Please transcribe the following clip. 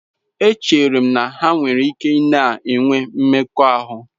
Echere m na ha nwere ike na-enwe mmekọahụ.